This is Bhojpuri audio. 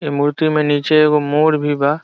ए मूर्ति में नीचे एगो मोर भी बा।